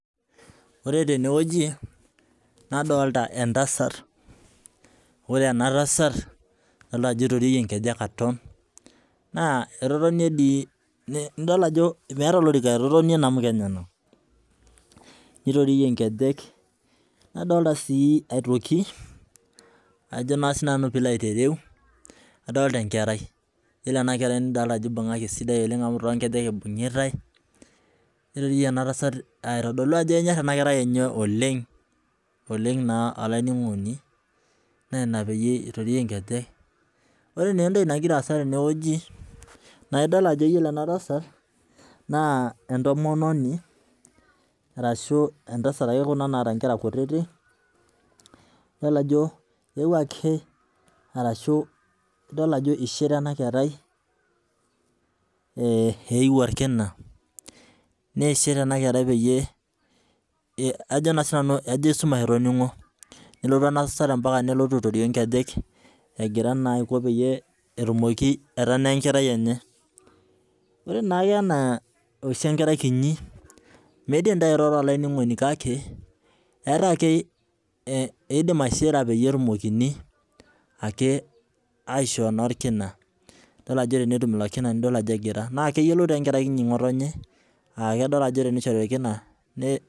Ore tenewueji, nadolta entasat. Ore enatasat, adolta ajo itoriorie nkejek aton, naa etotonie dii idol ajo meeta olorika etotonie namuka enyanak. Nitoriorie nkejek. Nadolta si aitoki, ajo naa sinanu pilo aitereu, adolta enkerai. Yiolo enakerai nidolta ajo ibung'aki esidai oleng amu tonkejek ibung'itai, nitoriorie enatasat aitodolu ajo kenyor enakerai enye oleng, oleng naa olainining'oni, na ina peyie itoriorie nkejek. Ore nentoki nagira aasa tenewueji, na idol ajo yiolo enatasat, naa entomononi, arashu entasat ake kuna naata nkera kutitik, nidol ajo eewuo ake arashu idol ajo ishira enakerai eu orkina, nishir enakerai peyie ajo naa sinanu ajo esumash etoning'o. Nelotu enatasat mpaka nelotu aitorio nkejek, egira naa aiko peyie etumoki aitanaa enkerai enye. Ore naake enaa oshi enkerai kinyi, midim tairoro olainining'oni, kake, eeta ake eidim aishira peyie etumokini ake aishoo naa orkina. Dol ajo tenetum ilo kina dol ajo egira. Na keyiolou tenkerai kiti ng'otonye, ah kedol ajo tenishori orkina, ne